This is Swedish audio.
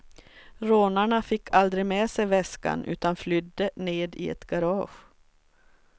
Rånarna fick aldrig med sig väskan utan flydde ned i ett garage.